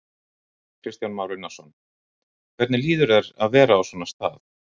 Kristján Már Unnarsson: Hvernig líður þér að vera á svona stað?